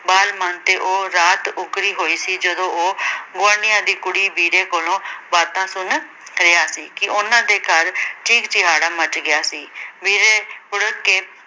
ਬਾਲ-ਮਨ ਤੇ ਉਹ ਰਾਤ ਉੱਕਰੀ ਹੋਈ ਸੀ, ਜਦੋਂ ਉਹ ਗੁਆਂਢੀਆਂ ਦੀ ਕੁੜੀ ਬੀਰੋ ਕੋਲੋਂ ਬਾਤਾਂ ਸੁਣ ਰਿਹਾ ਸੀ, ਕਿ ਉਹਨਾਂ ਦੇ ਘਰ ਚੀਕ-ਚਿਹਾੜਾ ਮੱਚ ਗਿਆ ਸੀ, ਬੀਰੋ ਬੁੜ੍ਹਕ ਕੇ